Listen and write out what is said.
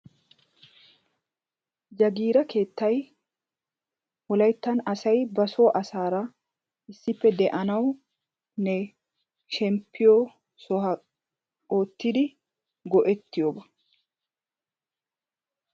Jaggira keettay Wolayttan asaya basoo asaara issippe de'anawunne shemppiyooba oottidi go'etiyooba.